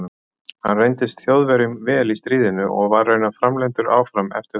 hann reyndist þjóðverjum vel í stríðinu og var raunar framleiddur áfram eftir það